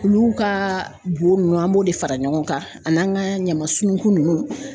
Olu ka bo nunnu an b'o de fara ɲɔgɔn kan an'an ga ɲama sununku nunnu